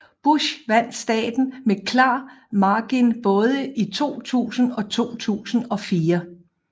Bush vandt staten med klar margin både i 2000 og 2004